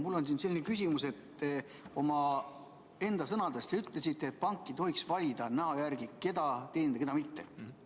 Mul on selline küsimus, et te omaenda sõnadega ütlesite, et pank ei tohiks valida näo järgi, keda teenindada ja keda mitte.